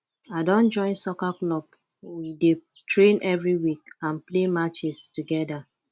i don join soccer club we dey train every week and play matches together